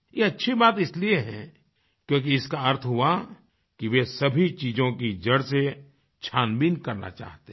ये अच्छी बात इसलिए है क्योंकि इसका अर्थ हुआ कि वे सभी चीज़ों की जड़ से छानबीन करना चाहते हैं